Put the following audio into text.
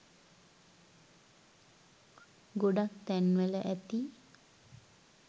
ගොඩක් තැන් වල ඇති